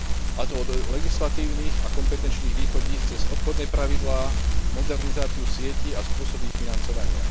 A to od legislatívnych a kompetenčných východísk cez obchodné pravidlá, modernizáciu sietí a spôsob ich financovania.